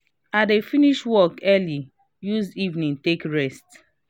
i dey finish work early use evening take rest